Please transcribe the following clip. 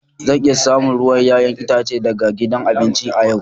Zan iya samun ruwan 'ya'yan itace daga gidan abinci a yau.